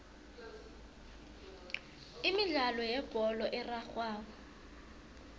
imidlalo yebholo erarhwako